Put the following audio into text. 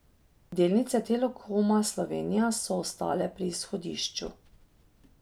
Delnice Telekoma Slovenije so ostale pri izhodišču.